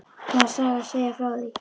Það er saga að segja frá því.